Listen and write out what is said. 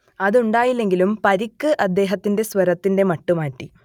അതുണ്ടായില്ലെങ്കിലും പരിക്ക് അദ്ദേഹത്തിന്റെ സ്വരത്തിന്റെ മട്ട് മാറ്റി